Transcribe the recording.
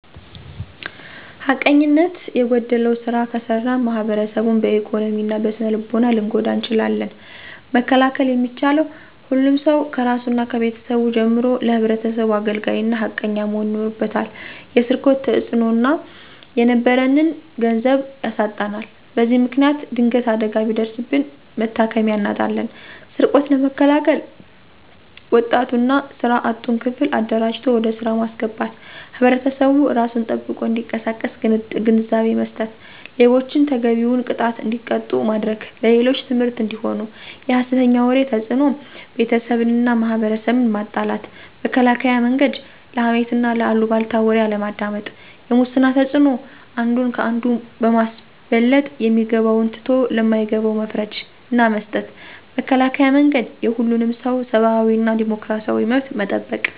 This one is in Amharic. ሀቀኘኝነት የጎደለዉ ስራ ከሰራን ማሕበረሰቡን በኢኮኖሚ እና በስነልቦና ልንጎዳ እንችላለን። መከላከል የሚቻለ፦ ሁሉም ሰዉ ከራሱና ከቤተሰቡ ጀምሮ ለሕብረተሰቡ አገልጋይ እና ሃቀኛ መሆን ይኖርበታል። የሰርቆት ተፅዕኖናኖ፦ የነበረንን ገንዘብ ያሳጣናል። በዚ ምክንያት ድንገት አደጋ ቢደርስብን መታከሚያ አናጣለን። ስርቆትን ለመከላከል፦ ወጣቱን እና ስራ አጡን ክፍል አደራጅቶ ወደ ስራ ማስገባት፣ ሕብረተሰቡ እራሱን ጠብቆ እንዲቀሳቀስ ግንዛቤ መስጠት፣ ሌቦችን ተገቢዉን ቅጣት እንዲቀጡ ማድረግ፦ ለሌሎች ትምህርት አንዲሆኑ። የሀሰተኛ ወሬ ተፅዕኖ፦ ቤተሰብንና ማሕበረሰብን ማጣላት። መከላከያ መንገድ፦ ለሀሜትና ለአሉባልታ ወሬ አለማዳመጥ። የሙስና ተፅዕኖ፦ አንዱን ከአንዱ በማስበለጥ የሚገባውን ትቶ ለማይገባው መፍረድ ናመስጠት። መከላከያ መንገድ፦ የሁሉንምሰዉ ሰብአዊና ዲሞክራሲያዊ መብት መጠበቅ።